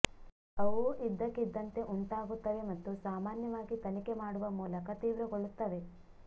ಅವು ಇದ್ದಕ್ಕಿದ್ದಂತೆ ಉಂಟಾಗುತ್ತವೆ ಮತ್ತು ಸಾಮಾನ್ಯವಾಗಿ ತನಿಖೆ ಮಾಡುವ ಮೂಲಕ ತೀವ್ರಗೊಳ್ಳುತ್ತವೆ